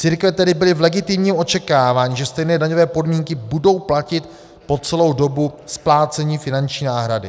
Církve tedy byly v legitimním očekávání, že stejné daňové podmínky budou platit po celou dobu splácení finanční náhrady.